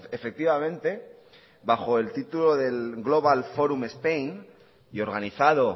efectivamente bajo el título del global forum spain y organizado